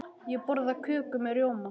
Ég borða köku með rjóma.